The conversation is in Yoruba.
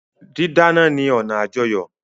Dídáná ni ọna àjọyọ́.